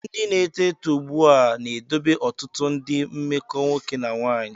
Ndị na-eto eto ugbu a na-edobe ọtụtụ ndị mmekọ nwoke na nwaanyị.